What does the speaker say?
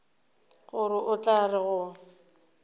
gore o tla re go